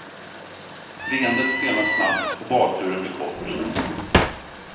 Leendet stelnar snabbt och badturen blir kort.